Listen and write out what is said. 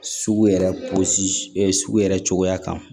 Sugu yɛrɛ pɔsi sugu yɛrɛ cogoya kan